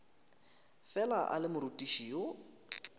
fela a le morutiši yo